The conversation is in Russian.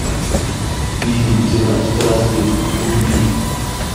фильм цена страсти вруби